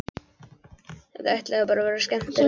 Þetta ætlaði bara að verða allra skemmtilegasti dagur.